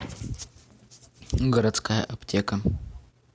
городская аптека